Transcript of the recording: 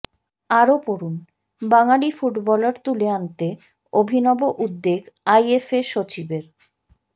আরও পড়ুনঃবাঙালি ফুটবলার তুলে আনতে অভিনব উদ্যোগ আইএফএ সচিবের